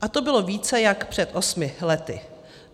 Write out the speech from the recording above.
A to bylo více jak před osmi lety.